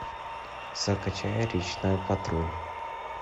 закачай речной патруль